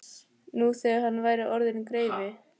Nú þegar hann væri orðinn greifi.